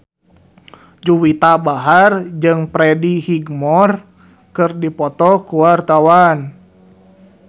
Juwita Bahar jeung Freddie Highmore keur dipoto ku wartawan